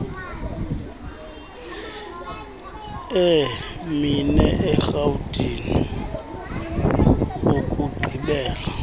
emine erhawutini ukugqibela